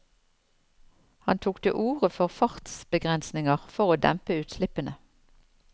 Han tok til orde for fartsbegrensninger for å dempe utslippene.